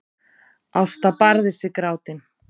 Ásta barðist við grátinn.